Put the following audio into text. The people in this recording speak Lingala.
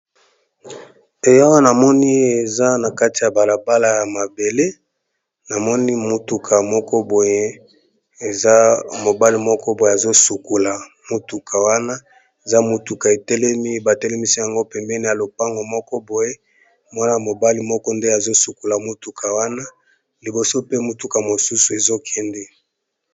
Ee awa namoni eza na kati ya bala bala ya mabele namoni motuka moko boye eza mobali moko boye azo sukula motuka wana eza motuka etelemi ba telemisi yango pembeni ya lopango moko boye mwana mobali moko nde azo sukula motuka wana liboso pe motuka mosusu ezo kende.